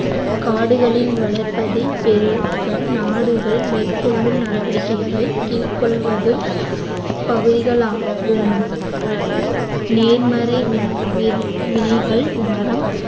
காடுகளின் வளர்ப்பதை பெருக்க நாடுகள் மேற்கொள்ளும் நடவடிக்கைகளை கீழ் கொள்வதும் பகுதிகளாகும் நேர்மறை வி~ வினைகள் மரம்